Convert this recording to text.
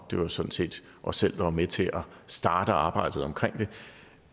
det var sådan set os selv der var med til at starte arbejdet